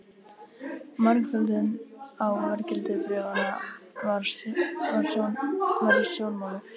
Margföldun á verðgildi bréfanna var í sjónmáli.